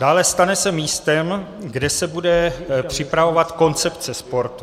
Dále, stane se místem, kde se bude připravovat koncepce sportu.